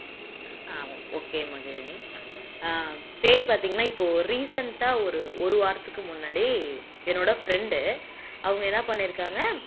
ஹம் okay Magizhini ஆஹ் பேய் பாத்தீங்கன்னா இப்போ recent அ ஒரு ஒரு வாரத்துக்கு முன்னாடி என்னுடைய friend உ அவங்க என்ன பண்ணிருக்காங்க